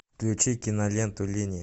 включи киноленту линии